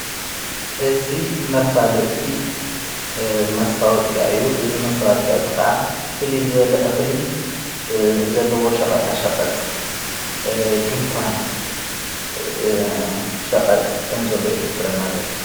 እዝ መፋለቲ መስውቅያ ዩ። እዝ መስተዋቅኣ ዝ ኸዓ ፊልዝላ እኽሊ ዘለዎ ሸቐጣ ሸቐጥ ድንኳን ሸቐጥ ከም ዘሎ የ ዘሕብረና ዘሎ።